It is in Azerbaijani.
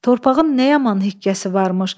Torpağın nə yaman hikməsi varmış.